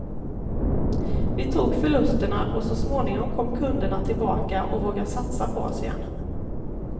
Vi tog förlusterna och så småningom kom kunderna tillbaka och vågade satsa på oss igen.